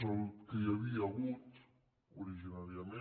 és el que hi havia hagut originàriament